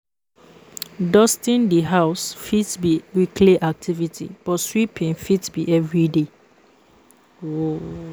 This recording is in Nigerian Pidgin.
Dusting di house fit be weekly activity but sweeping fit be everyday